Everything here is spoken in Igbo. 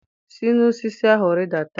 Si n'osisi ahụ rịdata!